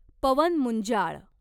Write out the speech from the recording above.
Pawan Munjal